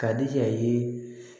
Ka di yan ye